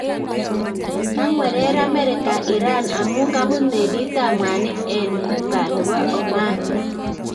Kangwereer Amerika Iran amuun kabuut meliiitab mwaniik en Ghuba nebo Oman